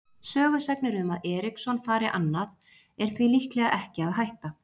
Sögusagnir um að Eriksson fari annað er því líklega ekki að hætta.